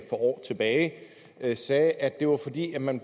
for år tilbage sagde at det var fordi man